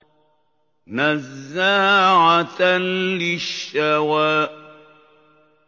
نَزَّاعَةً لِّلشَّوَىٰ